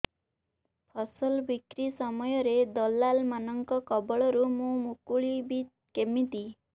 ଫସଲ ବିକ୍ରୀ ସମୟରେ ଦଲାଲ୍ ମାନଙ୍କ କବଳରୁ ମୁଁ ମୁକୁଳିଵି କେମିତି